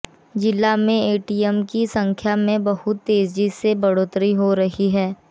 जिला में एटीएम की संख्या में बहुत तेजी से बढ़ोतरी हो रही है